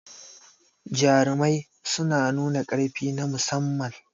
Jarumai suna nuna ƙarfi na musamman.